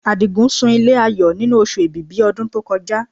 Àdìgún sun ilé Ayọ̀ nínú Oṣù Èbìbí ọdún tó kọjá